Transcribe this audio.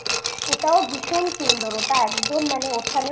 ওটাও ভীষণ সুন্দর ওটা একদম মানে ওখানেও যে